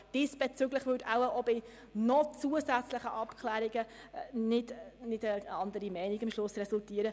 Diesbezüglich würde auch aufgrund zusätzlicher Abklärungen am Schluss keine andere Meinung resultieren.